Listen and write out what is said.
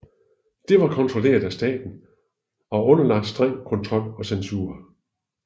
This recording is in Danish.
Det var kontrolleret af staten og underlagt streng kontrol og censur